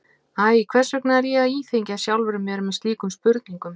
Æ, hvers vegna er ég að íþyngja sjálfum mér með slíkum spurnum?